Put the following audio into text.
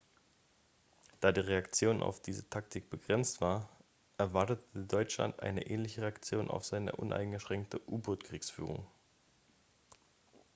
da die reaktion auf diese taktik begrenzt war erwartete deutschland eine ähnliche reaktion auf seine uneingeschränkte u-boot-kriegsführung